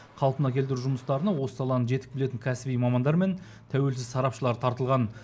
қалпына келтіру жұмыстарына осы саланы жетік білетін кәсіби мамандар мен тәуелсіз сарапшылар тартылған